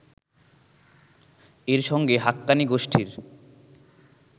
-এর সঙ্গে হাক্কানি গোষ্ঠীর